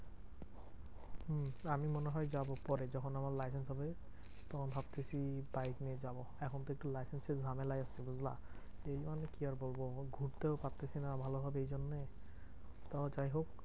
হম আমি মনে হয় যাবো পরে, যখন আমার licence হবে তখন ভাবতেছি বাইক নিয়ে যাবো। এখন তো একটু licence এর ঝামেলায় আছি বুঝলা? এই মানে কি আর বলবো? ঘুরতেও পারতেছি না ভালো ভাবে এই জন্যেই। তারপর যাইহোক